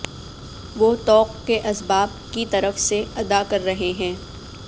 وہ طوق کے اسباب کی طرف سے ادا کر رہے ہیں